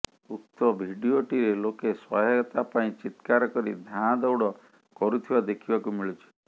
ଉକ୍ତ ଭିଡ଼ିଓଟିରେ ଲୋକେ ସହାୟତା ପାଇଁ ଚିତ୍କାର କରି ଧାଆଁଦୌଡ଼ କରୁଥିବା ଦେଖିବାକୁ ମିଳୁଛି